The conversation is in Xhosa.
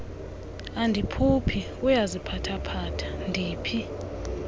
andiphuphi uyaziphathaphatha ndiphi